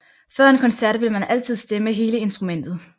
Før en koncert vil man altid stemme hele instrumentet